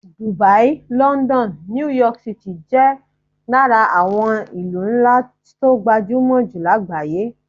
Dubai, london, New York City jẹ́ lára àwọn ìlú ńlá tó gbajúmọ̀ jù lágbàáyé